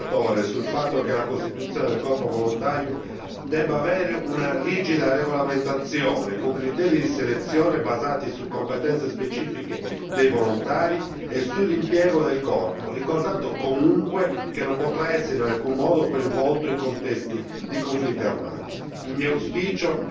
Concordo con il relatore sul fatto che la costituzione del corpo volontario debba avere una rigida regolamentazione, con criteri di selezione basati su competenze specifiche dei volontari e sull'impiego del corpo, ricordando comunque che non potrà essere in alcun modo coinvolto in contesti di conflitti armati.